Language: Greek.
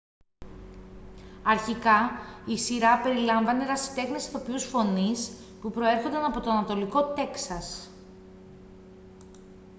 αρχικά η σειρά περιλάμβανε ερασιτέχνες ηθοποιούς φωνής που προέρχονταν από το ανατολικό τέξας